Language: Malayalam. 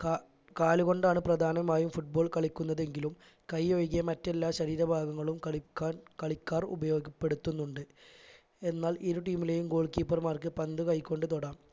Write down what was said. ക കാൽ കൊണ്ടാണ് പ്രധാനമായും football കളിക്കുന്നതെങ്കിലും കൈ ഒഴികെ മറ്റെല്ലാ ശരീരഭാഗങ്ങളും കളിക്കാൻ കളിക്കാർ ഉപയോഗപ്പെടുത്തുന്നുണ്ട് എന്നാൽ ഇരു team ലേയും goal keeper മാർക്ക് പന്ത് കൈ കൊണ്ട് തൊടാം